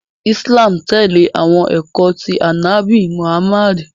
Islam tẹle awọn ẹkọ ti Anabi Muhammad.